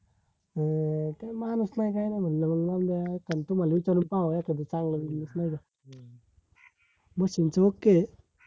अं काय माणूस नाय काय नाय म्हणलं तुम्हाला विचारून पाहाव काय म्हणले, नाय का? machine च okay आहे